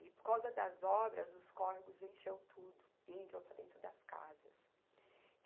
E, por causa das obras, os córregos encheu tudo e entrou para dentro das casas.